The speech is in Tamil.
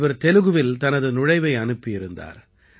இவர் தெலுகுவில் தனது நுழைவை அனுப்பியிருந்தார்